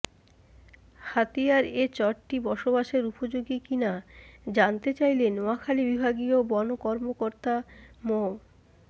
হাতিয়ার এ চরটি বসবাসের উপযোগী কি না জানতে চাইলে নোয়াখালী বিভাগীয় বন কর্মকর্তা মো